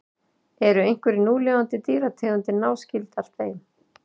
eru einhverjar núlifandi dýrategundir náskyldar þeim